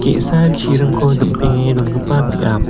ge·sa chiringko dim·penge dongipa biap.